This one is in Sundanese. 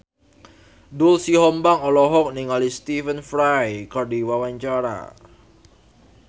Doel Sumbang olohok ningali Stephen Fry keur diwawancara